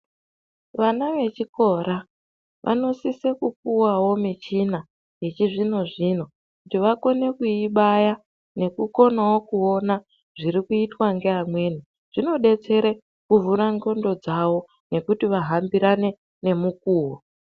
Vana vechikora vanosise kupiwawo michina yechizvino-zvino kuti vakone kuibaya nekuonawo zvinoitwa ngeamweni. Zvinodetsere kuvhura ndhlondo dzavo nekuti vahambirane nemukuwo.